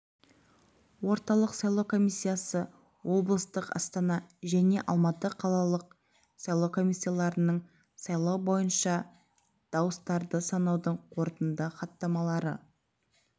орталық сайлау комиссиясы облыстық астана және алматы қалалық сайлау комиссияларының сайлау бойынша дауыстарды санаудың қорытынды хаттамалары